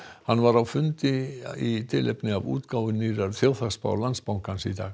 hann var á fundi í tilefni af útgáfu nýrrar þjóðhagsspár Landsbankans í dag